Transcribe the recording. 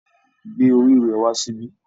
Gbé orí rẹ wá síbí